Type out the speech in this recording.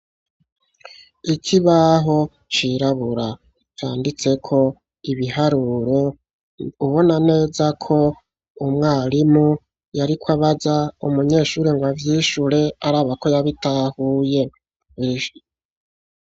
Ikibaho cirabura canditseko ibiharuro, ubona neza ko umwarimu yariko abaza umunyeshuri ngo avyishure araba ko yabitahuye.